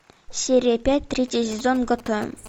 серия пять третий сезон готэм